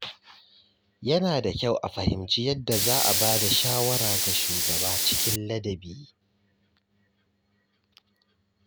Yana da kyau a fahimci yadda za a ba da shawara ga shugaba cikin ladabi.